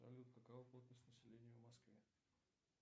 салют какова плотность населения в москве